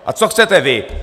A co chcete vy?